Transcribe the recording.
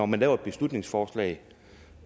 man laver et beslutningsforslag